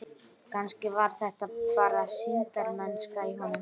Kannski var þetta bara sýndarmennska í honum.